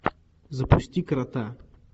запусти крота